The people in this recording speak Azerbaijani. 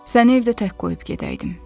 Səni evdə tək qoyub gedəydim.